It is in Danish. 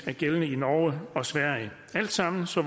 er gældende i norge og sverige alt sammen så